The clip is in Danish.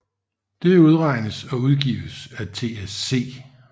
Det udregnes og udgives af TSE